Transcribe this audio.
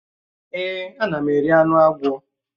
Èè, ana m eri anụ agwọ.